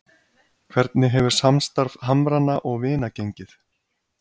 Hvernig hefur samstarf Hamranna og Vina gengið?